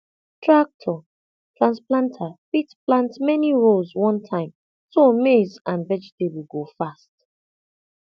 tractor transplanter fit plant many rows one time so maize and vegetable go fast